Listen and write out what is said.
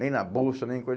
Nem na bolsa, nem